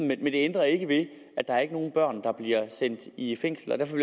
men det ændrer ikke ved at der ikke er nogen børn der bliver sendt i fængsel derfor